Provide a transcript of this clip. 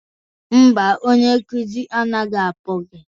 Mba, onye nkụzi anaghị akpọ gị